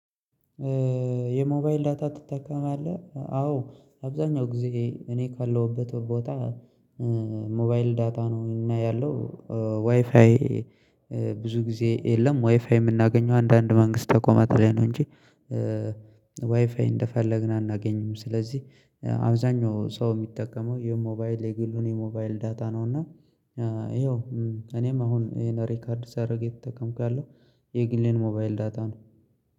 የሞባይል ዳታ ትጠቀማለህ አዎ? አብዛኛው ጊዜ እኔ ካለሁበት ቦታ ሞባይል ዳታ ነው እና ያለው ዋይፋይ ብዙ ጊዜ የለም ዋይፋይ የምናገኘው አንዳንድ መንግስት ተቆማት ላይ ነው እንጂ ዋይፋይ እንደፈለግን አናገኝም። ስለዚህ አብዛኛው ሰው የሚጠቀመው የሞባይል የግሉን የሞባይል ዳታ ነው። እና ይኸው እኔም አሁን ይሄን ሪከርድ ሳደርግ እየተጠቀምኩ ያለውት የግሌን ሞባይል ዳታ ነው